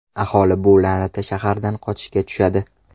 Aholi bu la’nati shahardan qochishga tushadi.